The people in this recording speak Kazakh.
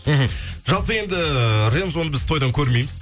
мхм жалпы енді э рензоны біз тойдан көрмейміз